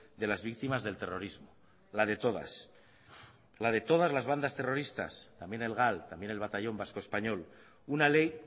de las víctimas del terrorismo la de todas la de todas las bandas terroristas también el gal también el batallón vasco español una ley